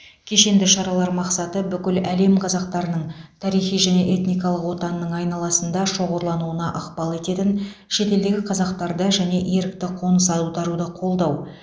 кешенді шаралар мақсаты бүкіл әлем қазақтарының тарихи және этникалық отанының айналасында шоғырлануына ықпал ететін шетелдегі қазақтарды және ерікті қоныс аударуды қолдау